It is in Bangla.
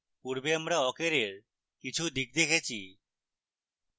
পূর্বে আমরা awk অ্যারের কিছু দিক দেখেছি